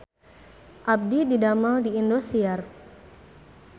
Abdi didamel di Indosiar